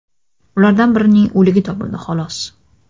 Ulardan birining o‘ligi topildi, xolos.